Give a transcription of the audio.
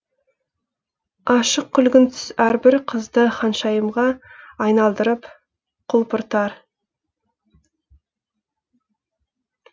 ашық күлгін түс әрбір қызды ханшайымға айналдырып құлпыртар